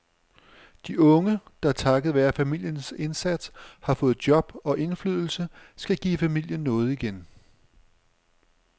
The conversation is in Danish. De unge, der takket være familiens indsats har fået job og indflydelse, skal give familien noget igen.